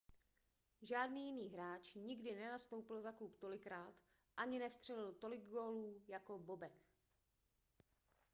žádný jiný hráč nikdy nenastoupil za klub tolikrát ani nevstřelil tolik gólů jako bobek